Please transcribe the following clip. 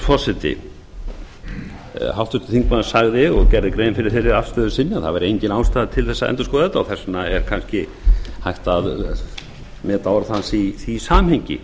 forseti háttvirtur þingmaður sagði og gerði grein fyrir þeirri afstöðu sinni að það væri engin ástæða til að endurskoða þetta og þess vegna er kannski hægt að meta orð hans í því samhengi